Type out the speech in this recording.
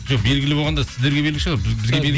жоқ белгілі болғанда сіздерге белгілі шығар